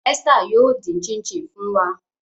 Esther yoo din chin chin fun wa.